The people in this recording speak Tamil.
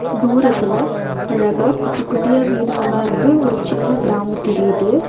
தூரத்துல அழகா குட்டி குட்டியா வீடுங்கள்ளா இருந்து ஒரு சின்ன கிராமம் தெரிது.